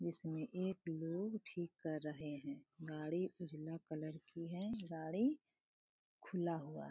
इसमे एक लोग ठीक कर रहे हैं गाड़ी उजला कलर की है गाड़ी खुला हुआ है।